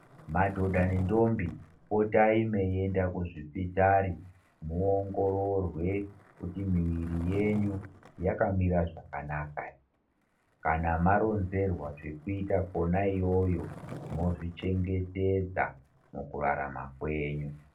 Madodha nendombi potai meiende kuzvipitari muongororwe kuti miiri yenyu yakamira zvakanaka ere kana maronzerwa zvekuita kona iyoyo mozvichengetedza mukurarama kwenyu.